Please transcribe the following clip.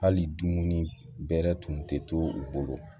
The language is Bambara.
Hali dumuni bɛrɛ tun tɛ to u bolo